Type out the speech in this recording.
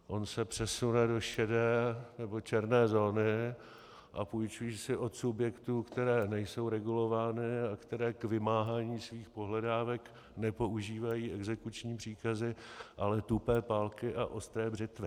On se přesune do šedé nebo černé zóny a půjčí si od subjektů, které nejsou regulovány a které k vymáhání svých pohledávek nepoužívají exekuční příkazy, ale tupé pálky a ostré břitvy.